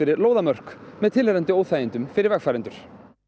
lóðarmörk með tilheyrandi óþægindum fyrir vegfarendur